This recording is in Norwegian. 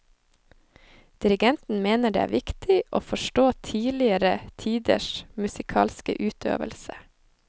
Dirigenten mener det er viktig å forstå tidligere tiders musikalske utøvelse.